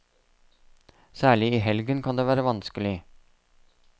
Særlig i helgen kan det være vanskelig.